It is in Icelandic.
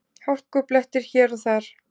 Hálkublettir hér og þar